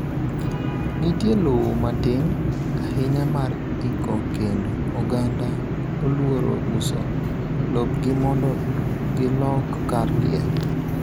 Nitie lowo matin ahinya mar iko kendo oganda oluoro uso lopgi mondo gilok kar liel